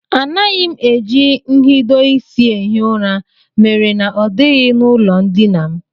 Anaghị m eji nhidoisi ehi ụra mere na ọ dịghị n'ụlọndina m